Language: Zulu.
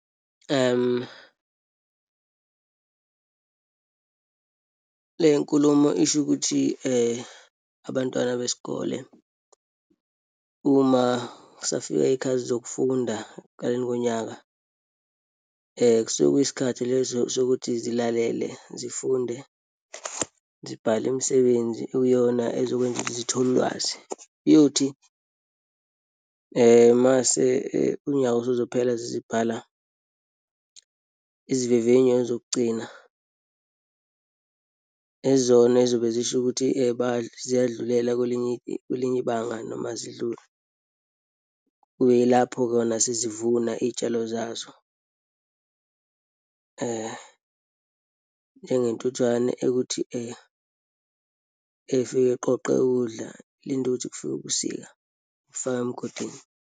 Le nkulumo isho ukuthi abantwana besikole, uma kusafika iyikhathi zokufunda ekuqaleni konyaka kusuke kuyisikhathi leso sokuthi zilalele, zifunde, zibhale imisebenzi okuyiyona ezokwenza ukuthi zithole ulwazi. Iyothi uma unyaka usuzophela sezibhala izivivinyo zokugcina ezona ezizobe zisho ukuthi ziyadlulela kwelinye, kwelinye ibanga noma azidluli. Kube yilapho kona sezivuna iyitshalo zazo , njengentuthwane ekuthi ifike iqoqe ukudla, ilinde ukuthi kufike ubusika, ifake emgodini.